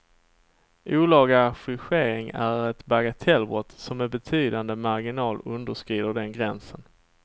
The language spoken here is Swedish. Olaga affischering är ett bagatellbrott som med betydande marginal underskrider den gränsen.